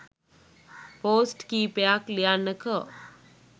post කීපයක් ලියන්නකෝ